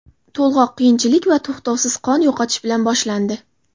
To‘lg‘oq qiyinchilik va to‘xtovsiz qon yo‘qotish bilan boshlandi.